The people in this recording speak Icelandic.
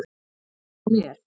Sem hún er.